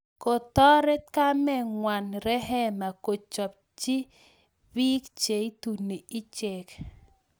Kotoret kamengwang rehema kochengchii piik cheitunii icheek